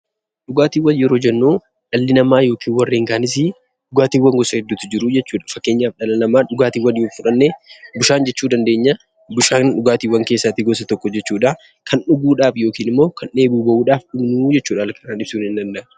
Dhugaatiiwwan yeroo jennuu, dhalli namaa yookaan warreen kaanis. Dhugaatiiwwan gosa hedduutu jiru. Fakkeenyaaf dhala namaa dhugaatiin yoo fudhannee bishaan jechuu dandeenya. Bishaan dhugaatiiwwan keessaa gosa tokko, kan dhuguudhaaf yookiin immoo dheebuu bahuuf kan dhugnuu jechuudha.